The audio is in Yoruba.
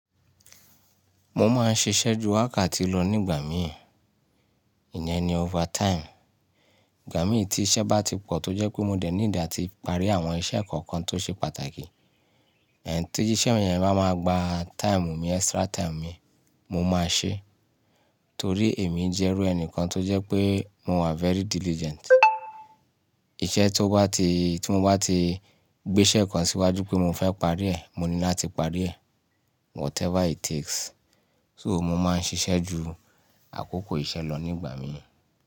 Mo máa ń ṣiṣẹ́ ju wákàtí lọ nígbà mìí, ìyẹn ni overtime. Ìgbà mìí tí iṣẹ́ bá ti pọ̀ tó jẹ́ pé mo dẹ̀ need ati parí àwọn iṣẹ́ kọ̀ọ̀kan tó ṣe pàtàkì. Tí íṣẹ́ yẹn bá máa gba time mi, extra time mi, mo máa ṣe. Torí èmi jẹ́rú ẹni kan tó jẹ́ pé mo wà very diligent. Iṣẹ́ tó bá ti, tí mo bá ti gbé iṣẹ́ kan síwájú pé mo fẹ́ parí ẹ̀, mo ní láti parí ẹ̀. Whatever it takes. So mo máa ń ṣiṣẹ́ ju àkókò iṣẹ́ lọ nígbà mìíràn.